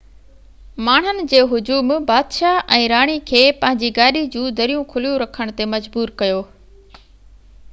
ماڻهن جي هجوم بادشاه ۽ راڻي کي پنهنجي گاڏي جون دريون کليون رکڻ تي مجبور ڪيو